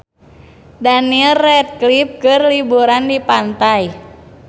Daniel Radcliffe keur liburan di pantai